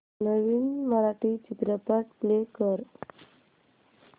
नवीन मराठी चित्रपट प्ले कर